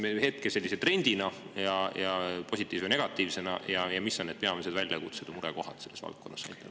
Mida te näete hetkel trendina ja positiivse või negatiivsena ning millised on peamised väljakutsed ja murekohad selles valdkonnas?